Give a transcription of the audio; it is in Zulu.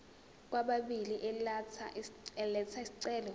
kwababili elatha isicelo